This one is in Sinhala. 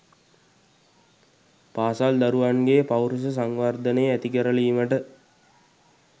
පාසල් දරුවන්ගේ පෞරුෂ සංවර්ධනය ඇතිකරලීමට